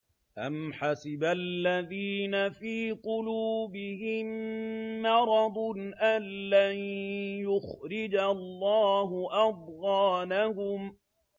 أَمْ حَسِبَ الَّذِينَ فِي قُلُوبِهِم مَّرَضٌ أَن لَّن يُخْرِجَ اللَّهُ أَضْغَانَهُمْ